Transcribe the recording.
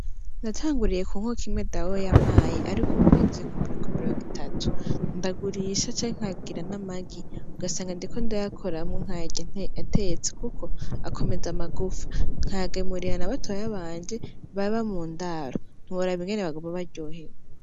Natanguriye ku nkoko imwe dawo yampaye, ariko ubu ngeze kumirongo itatu, ndagurisha canke nkagira n'amagi ugasanga ndiko ndayakoramwo nkayarya atetse, kuko akomeza amagufa, nkayagemurira nabatoya banje baba mu ndaro, ntiworaba ingene baguma baryohewe.